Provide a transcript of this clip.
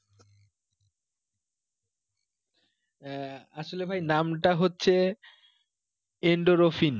আহ আসলে ভাই নামটা হচ্ছে endorophin